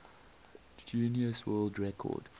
guinness world record